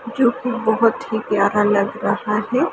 जो कि बहुत ही प्यारा लग रहा है।